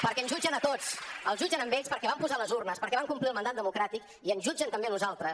perquè ens jutgen a tots els jutgen a ells perquè van posar les urnes perquè van complir el mandat democràtic i ens jutgen també a nosaltres